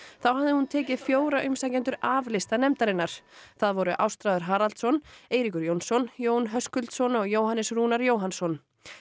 þá hafði hún tekið fjóra umsækjendur af lista nefndarinnar það voru Ástráður Haraldsson Eiríkur Jónsson Jón Höskuldsson og Jóhannes Rúnar Jóhannsson